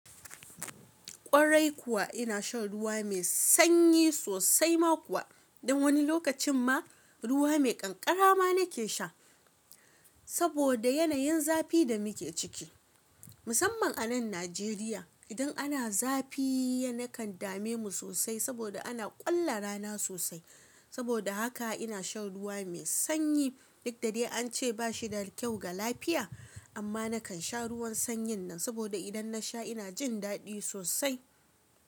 Ƙwarai kuwa ina shan ruwa mai sanyi sosai ma kuwa, don wani lokacin ma ruwa mai ƙanƙara ma nake sha. Saboda yanayin zafi da muke ciki musamman a nan Najeriya idan ana zafi ya nakan dame mu sosai saboda ana ƙolla rana sosai. Saboda haka ina shan ruwa mai sanyi duk da dai an ce ba shi da kyau ga lafiya. Amma nakan sha ruwan sanyin nan saboda idan na sha ina jin daɗi sosai.